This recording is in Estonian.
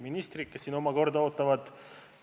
Ministrid, kes siin oma korda ootavad!